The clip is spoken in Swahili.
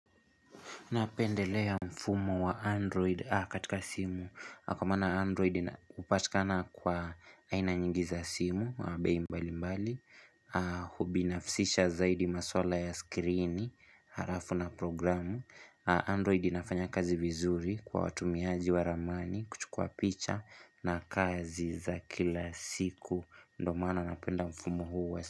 Napendelea mfumo wa Android katika simu. Kwa maana Android upatika na kwa aina nyingi za simu, bei mbali mbali, hubinafsisha zaidi maswala ya skirini, harafu na programu. Android inafanya kazi vizuri kwa watumiaji wa ramani kuchukua picha na kazi za kila siku. Ndo maana napenda mfumo huu.